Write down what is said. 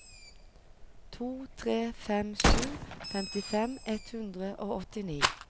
to tre fem sju femtifem ett hundre og åttini